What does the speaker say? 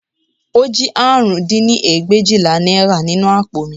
Ó jí àrún dín ní ẹgbẹ̀éjìlá náírà nínú àpò mi